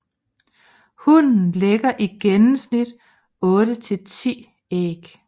Hunnen lægger i gennemsnit 8 til 10 æg